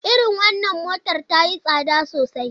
Irin wannan motar ta yi tsada sosai.